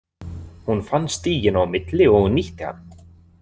Hún fann stíginn á milli og nýtti hann.